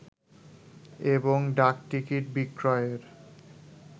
এবং ডাকটিকিট বিক্রয়ের